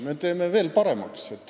Me teeme veel paremaks.